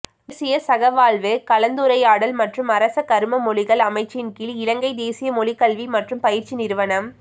தேசிய சகவாழ்வு கலந்துரையாடல் மற்றும் அரச கரும மொழிகள் அமைச்சின் கீழ் இலங்கை தேசிய மொழிக்கல்வி மற்றும் பயிற்சி நிறுவனம்